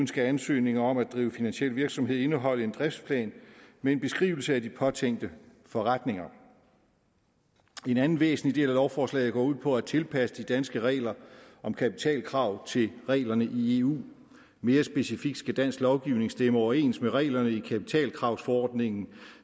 skal ansøgninger om at drive finansiel virksomhed indeholde en driftsplan med en beskrivelse af de påtænkte forretninger en anden væsentlig del af lovforslaget går ud på at tilpasse de danske regler om kapitalkrav til reglerne i eu mere specifikt skal dansk lovgivning stemme overens med reglerne i kapitalkravsforordningen